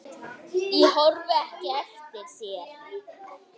Ég horfi ekki eftir þér.